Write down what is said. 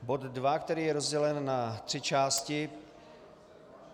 Bod 2, který je rozdělen na tři části.